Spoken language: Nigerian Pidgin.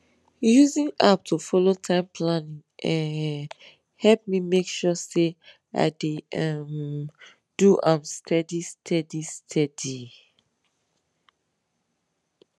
using app to follow time planning um help me make sure say i dey um do am steady steady steady